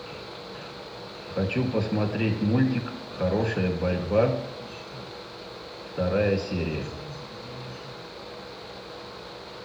хочу посмотреть мультик хорошая борьба вторая серия